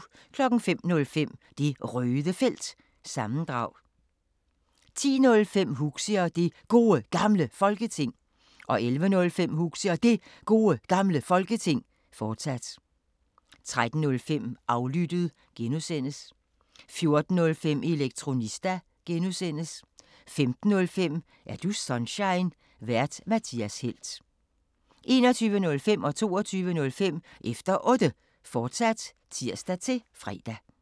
05:05: Det Røde Felt – sammendrag 10:05: Huxi og Det Gode Gamle Folketing 11:05: Huxi og Det Gode Gamle Folketing, fortsat 13:05: Aflyttet (G) 14:05: Elektronista (G) 15:05: Er du Sunshine? Vært:Mathias Helt 21:05: Efter Otte, fortsat (tir-fre) 22:05: Efter Otte, fortsat (tir-fre)